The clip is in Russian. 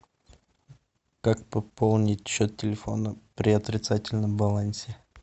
как пополнить счет телефона при отрицательном балансе